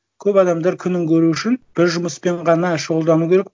көп адамдар күнін көру үшін бір жұмыспен ғана шұғылдану керек